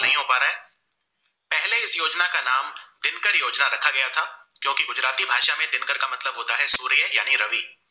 का मतलब होता है सूर्य यानी रवि